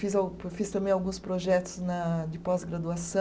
Fiz, fiz também alguns projetos na de pós-graduaçã